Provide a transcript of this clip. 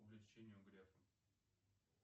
увлечения у грефа